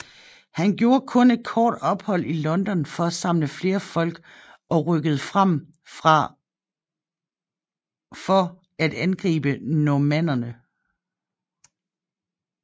Han gjorde kun et kort ophold i London for at samle flere folk og rykkede frem for at angribe normannerne